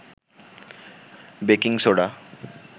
baking soda